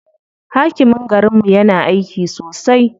Hakimin garinmu yana aiki sosai.